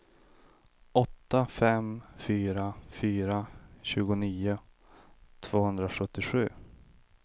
åtta fem fyra fyra tjugonio tvåhundrasjuttiosju